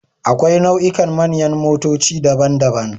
Akwai nau'ikan manyan motoci daban-daban.